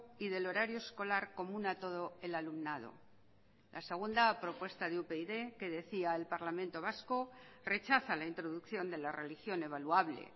y del horario escolar común a todo el alumnado la segunda a propuesta de upyd que decía el parlamento vasco rechaza la introducción de la religión evaluable